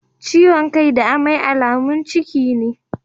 Ciwon kai da amai alamun ciki ne.